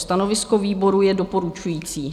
Stanovisko výboru je doporučující.